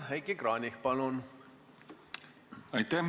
Heiki Kranich, palun!